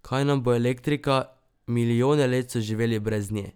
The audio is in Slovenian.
Kaj nam bo elektrika, milijone let so živeli brez nje!